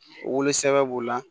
Wolo sɛbɛbɛ b'o la